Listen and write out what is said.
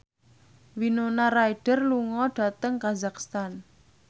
Winona Ryder lunga dhateng kazakhstan